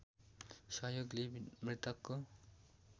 सहयोग लिई मृतकको